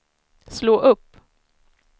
slå upp